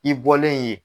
I bɔlen yen